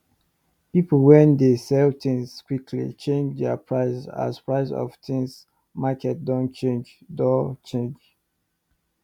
people wen dey sell things quickly change there price as price of things market doh change doh change